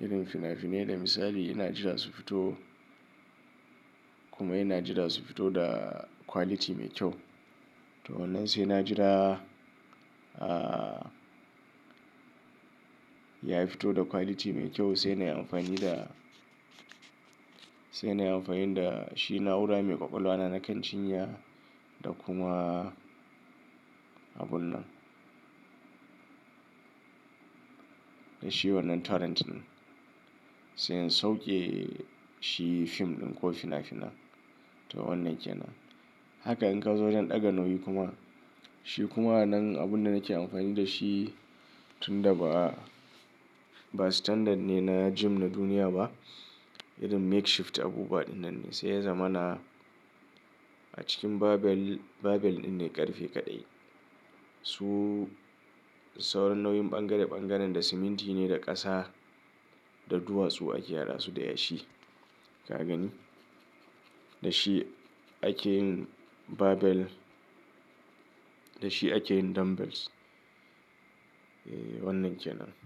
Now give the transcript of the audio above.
Irin fina-finai da misali ina jira su fito kuma ina jira su fito da quality mai kyau. To wannan sai ina jira, ah, ya fito da quality mai kyau sai na yi amfani da, sai na yi amfani da shi naura mai ƙwaƙwalwa na kan chinya da kuma abun nan. Da shi wannan torrent in sai in sauke shi fim ɗin ko fina-finai. To wannan ke nan. Haka in ka zo wajen ɗaga nauyi kuma, shi kuma nan abun da nake amfani da shi tun da ba, ba standard ne na gym na duniya ba. Irin makeshift abubuwa wannan ne. Sai ya zama na a cikin barbell, barbell ɗin ne ƙarfe kaɗai. Su sauran nauyin ɓangare-ɓangaren da siminti ne da ƙasa da duwatsu ake hada su da yashi, ka gani? Da shi ake yin barbell. Da shi ake yin dumbbells. Eh wannan ke nan.